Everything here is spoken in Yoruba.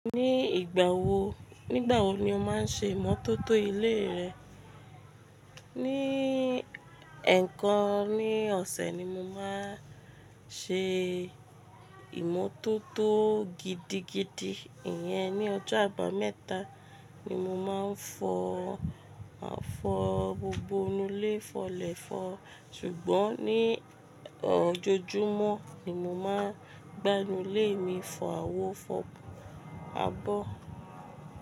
Ní ìgbà wo, nígbà wo ni o máa ń ṣe ìmótótó ilé rẹ? Ní ẹ̀ẹ̀kan ní ọ̀sẹ̀ ni mo máa ń ṣe ìmótótó gidigidi, ìyẹn ní ọjọ́ àbámẹ́ta ni mo máa ń fọ, máa fọ gbogbo inú ilé fọlẹ̀fọ́. Ṣùgbọ́n ní ojoojúmọ́ ni mo máa ń gbá inú ilé mi fọ àwo fọ abọ́.